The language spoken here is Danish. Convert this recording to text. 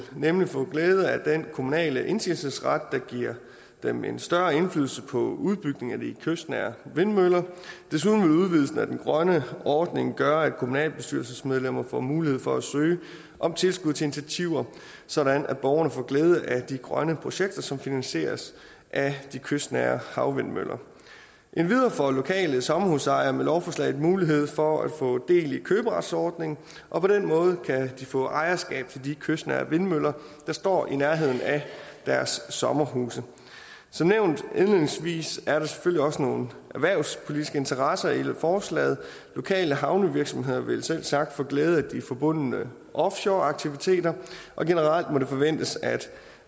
nemlig få glæde af den kommunale indsigelsesret der giver dem en større indflydelse på udbygningen af de kystnære vindmøller desuden vil udvidelsen af den grønne ordning gøre at kommunalbestyrelsesmedlemmer får mulighed for at søge om tilskud til initiativer sådan at borgerne får glæde af de grønne projekter som finansieres af de kystnære havvindmøller endvidere får lokale sommerhusejere med lovforslaget mulighed for at få del i køberetsordningen og på den måde kan de få ejerskab til de kystnære vindmøller der står i nærheden af deres sommerhuse som nævnt indledningsvis er der selvfølgelig også nogle erhvervspolitiske interesser i forslaget lokale havnevirksomheder vil selvsagt få glæde af de forbundne offshoreaktiviteter og generelt må det forventes at